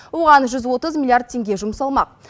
оған жүз отыз миллиард теңге жұмсалмақ